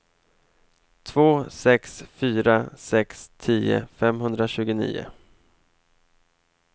två sex fyra sex tio femhundratjugonio